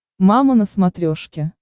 мама на смотрешке